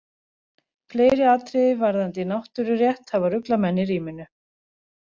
Fleiri atriði varðandi náttúrurétt hafa ruglað menn í ríminu.